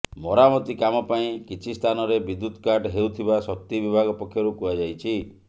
ମରାମତି କାମ ପାଇଁ କିଛି ସ୍ଥାନରେ ବିଦ୍ୟୁତ କାଟ୍ ହେଉଥିବା ଶକ୍ତି ବିଭାଗ ପକ୍ଷରୁ କୁହାଯାଇଛି